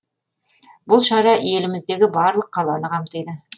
бұл шара еліміздегі барлық қаланы қамтиды